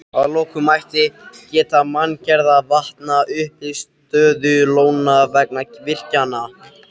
Að lokum mætti geta manngerðra vatna, uppistöðulóna, vegna virkjana.